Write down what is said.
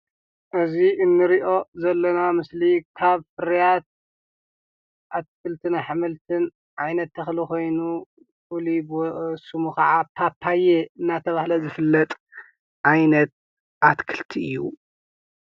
እዚ እንሪኦ ዘለና ምስሊ ካብ ፍርያት አትክልትን አሕምልትን ዓይነት ተክሊ ኮይኑ ፍሉይ ስሙ ከዓ ፓፓየ እናተበሃለ ዝፍለጥ ዓይነት አትክልቲ እዩ።